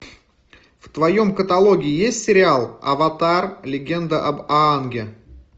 в твоем каталоге есть сериал аватар легенда об аанге